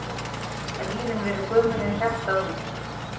Þannig geta nýrun verið gömul en hjartað ungt!